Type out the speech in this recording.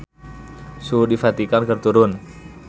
Suhu di Vatikan keur turun